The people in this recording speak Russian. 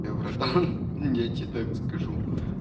я братан я тебе так скажу